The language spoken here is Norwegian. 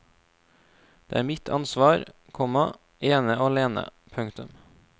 Det er mitt ansvar, komma ene og alene. punktum